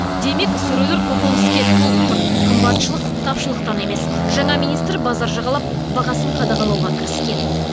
демек сөрелер көкөніске толып тұр қымбатшылық тапшылықтан емес жаңа министр базар жағалап бағасын қадағалауға кіріскен